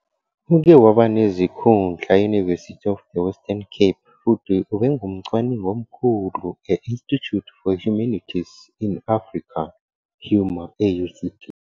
Uke waba nezikhundla e- University of the Western Cape futhi ubengumcwaningi omkhulu e-Institute for Humanities in Africa, HUMA, e- UCT.